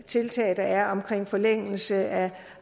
tiltag der er omkring forlængelse af